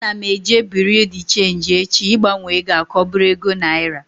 Ana m eje bureau de cheenji echi ịgbanwe egoa ka ọ bụrụ ego naira